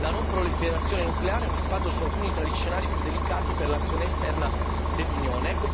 La non proliferazione nucleare ha un impatto su alcuni degli scenari più delicati per l'azione esterna dell'Unione.